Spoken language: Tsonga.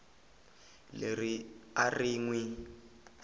leri a ri n wi